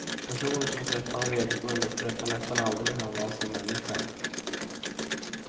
Personer som träffade honom regelbundet berättade nästan aldrig hur han var som människa.